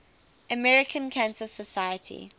american cancer society